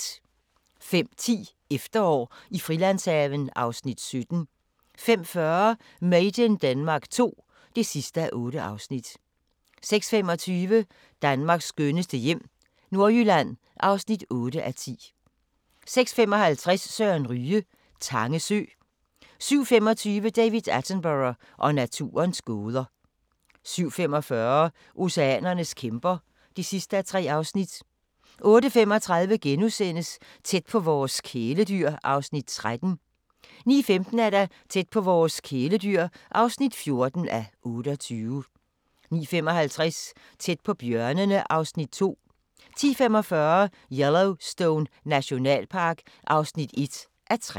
05:10: Efterår i Frilandshaven (Afs. 17) 05:40: Made in Denmark II (8:8) 06:25: Danmarks skønneste hjem - Nordjylland (8:10) 06:55: Søren Ryge: Tange sø 07:25: David Attenborough og naturens gåder 07:45: Oceanernes kæmper (3:3) 08:35: Tæt på vores kæledyr (13:28)* 09:15: Tæt på vores kæledyr (14:28) 09:55: Tæt på bjørnene (Afs. 2) 10:45: Yellowstone Nationalpark (1:3)